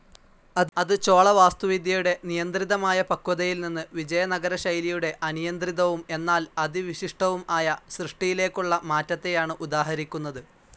അത് ചോളവാസ്തുവിദ്യയുടെ നിയന്ത്രിതമായ പക്വതയിൽനിന്ന് വിജയനഗരശൈലിയുടെ അനിയന്ത്രിതവും എന്നാൽ അതിവിശിഷ്ടവും ആയ സൃഷ്ടിയിലേക്കുള്ള മാറ്റത്തെയാണ് ഉദാഹരിക്കുന്നത്.